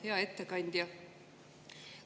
Hea ettekandja!